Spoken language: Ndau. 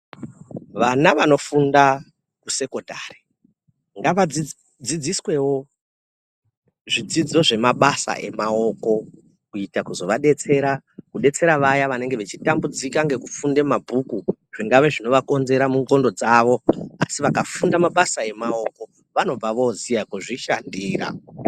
Vana vanofunda kusekondari ngadzidzi dzidziswoo zvidzidzo zvemabasa emaoko kuite kuzovadetsera kudetsera vaya vanenge vachitambudzika ngekufunde mabhuku zvingava zvingavakonzera mundxondo dzawo asi vakafunda mabasa emaoko vanobva voziya kuzvishandira.